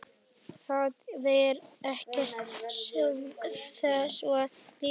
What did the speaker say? Það var ekkert þessu líkt.